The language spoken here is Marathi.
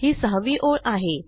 ही सहावी ओळ आहे